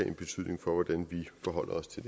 en betydning for hvordan vi forholder os til